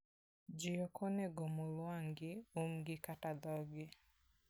Ji ok onego omul wang'gi, umgi kata dhogi.